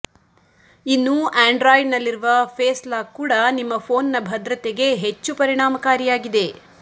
ಇನ್ನು ಆಂಡ್ರಾಯ್ಡ್ನಲ್ಲಿರುವ face lock ಕೂಡ ನಿಮ್ಮ ಫೋನ್ನ ಭದ್ರತೆಗೆ ಹೆಚ್ಚು ಪರಿಣಾಮಕಾರಿಯಾಗಿದೆ